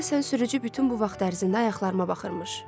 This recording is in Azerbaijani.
Deyəsən sürücü bütün bu vaxt ərzində ayaqlarıma baxırmış.